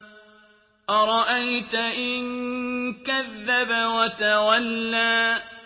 أَرَأَيْتَ إِن كَذَّبَ وَتَوَلَّىٰ